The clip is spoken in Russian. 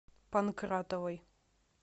панкратовой